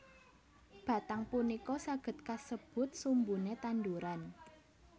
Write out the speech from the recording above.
Batang punika saged kasebut sumbune tanduran